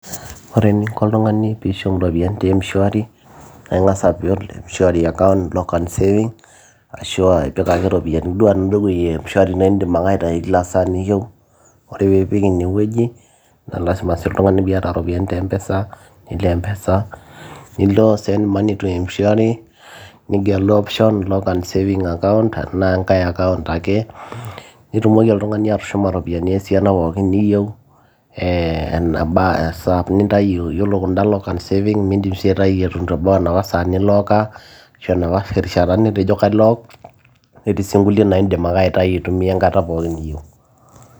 ore eninko oltung'ani piishum iropiyiani te mshwari naa ing'as abol mshwari account lock and savings arashua ipik ake iropiyiani duo enaduo wueji e mshwari naindim ake aitai kila saa niyieu ore piipik inewueji naa lazima sii oltung'ani piata iropiyiani te mpesa nilo mpesa nilo send money to mshwari nigelu option lock and saving account enaa enkae account ake nitumoki oltung'ani atushuma iropiyiani esiana pookin niyieu eh, esaa nintayu yiolo kunda lock and saving mindim sii aitayui eton eitu ebau enapa saa niloka ashu enapa rishata nitejo kailok netii sii nkulie naa indim ake aitayu aitumia enkata pookin niyieu.